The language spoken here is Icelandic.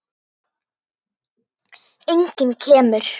Enginn kemur.